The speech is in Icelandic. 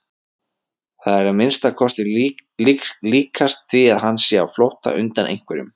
Það er að minnsta kosti líkast því að hann sé á flótta undan einhverjum.